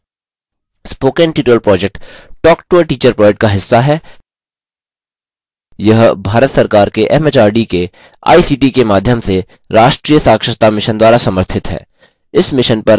spoken tutorial project talktoateacher project का हिस्सा है यह भारत सरकार के एमएचआरडी के आईसीटी के माध्यम से राष्ट्रीय साक्षरता mission द्वारा समर्थित है